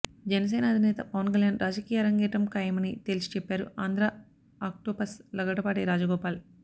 జనసేన అధినేత పవన్ కళ్యాణ్ రాజకీయ ఆరంగేట్రం ఖాయమని తేల్చి చెప్పారు ఆంధ్రా ఆక్టోపస్ లగడపాటి రాజగోపాల్